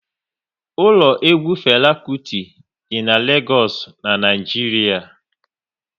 Ụlọ egwu Fela Kuti dị n'Legoosu, Naijiria